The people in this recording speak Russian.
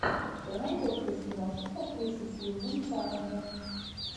что найдется из киношек с актрисой сьюзан сарандон